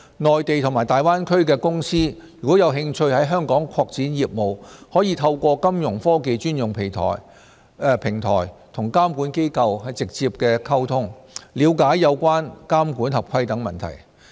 內地及大灣區的公司如有興趣在港擴展業務，可透過金融科技專用平台與監管機構直接溝通，了解有關監管合規等問題。